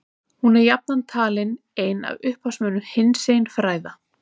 hún er jafnan talin ein af upphafsmönnum hinsegin fræða